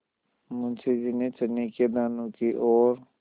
मुंशी जी ने चने के दानों की ओर